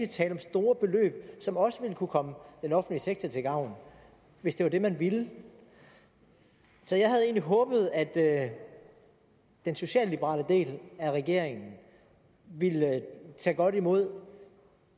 tale om store beløb som også ville kunne komme den offentlige sektor til gavn hvis det var det man ville så jeg havde egentlig håbet at den socialliberale del af regeringen ville tage godt imod